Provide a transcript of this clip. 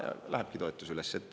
Ja lähebki toetus üles.